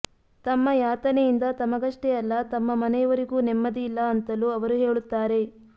ತಮ್ಮ ಯಾತನೆಯಿಂದ ತಮಗಷ್ಟೇ ಅಲ್ಲ ತಮ್ಮ ಮನೆಯವರಿಗೂ ನೆಮ್ಮದಿಯಿಲ್ಲ ಅಂತಲೂ ಅವರು ಹೇಳುತ್ತಾರೆ